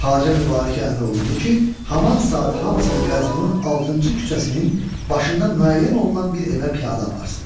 Xacə Mübarəkə əmr olundu ki, haman saat hamısını Qəzvinin altıncı küçəsinin başından müəyyən olunan bir evə piyada aparsın.